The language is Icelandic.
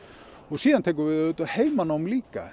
síðan tekur við heimanám líka